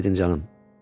Əhv edin canım.